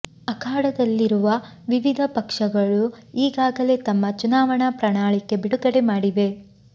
ಅಖಾಡದಲ್ಲಿ ರುವ ವಿವಿಧ ಪಕ್ಷಗಳು ಈಗಾಗಲೇ ತಮ್ಮ ಚುನಾವಣಾ ಪ್ರಣಾಳಿಕೆ ಬಿಡುಗಡೆ ಮಾಡಿವೆ